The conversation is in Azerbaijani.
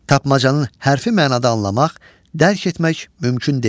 Tapmacanın hərfi mənada anlamaq, dərk etmək mümkün deyil.